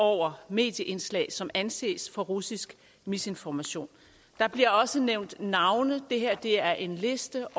over medieindslag som anses for russisk misinformation der bliver også nævnt navne det her er en liste